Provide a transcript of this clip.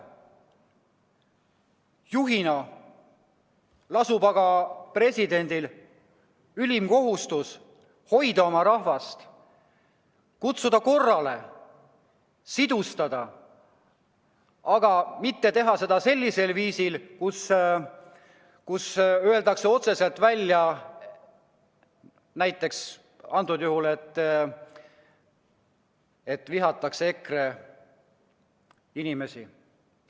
Juhina lasub aga presidendil ülim kohustus hoida oma rahvast, kutsuda korrale, sidustada, aga mitte teha seda sellisel viisil, et öeldakse otse välja näiteks seda, et vihatakse EKRE inimesi.